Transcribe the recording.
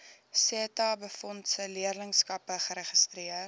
setabefondse leerlingskappe geregistreer